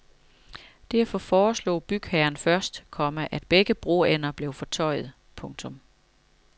Derfor foreslog bygherren først, komma at begge broender blev fortøjet. punktum